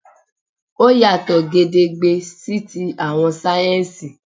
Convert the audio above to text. Ó yàtọ̀ gedegbe sí ti àwọn sáyẹ́ńsì